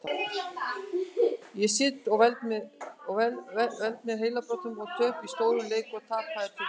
Ég sit og veld mér heilabrotum um töp í stórum leikjum og tapaða titla.